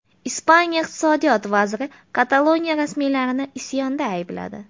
Ispaniya iqtisodiyot vaziri Kataloniya rasmiylarini isyonda aybladi.